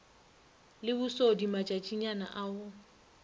le bosodi matšatšinyana a go